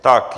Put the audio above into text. Tak.